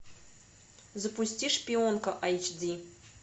запусти шпионка эйч ди